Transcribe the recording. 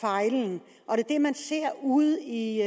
fejlen det man ser ude i